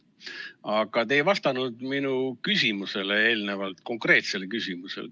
Aga te ei vastanud minu küsimusele eelnevalt, konkreetsele küsimusele.